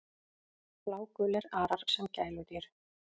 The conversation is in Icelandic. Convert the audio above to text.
Blágulir arar sem gæludýr